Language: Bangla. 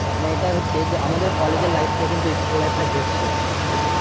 মানে এটা হচ্ছে যে আমাদের কলেজের life থেকে কিন্তু school life টা best ছিল বল?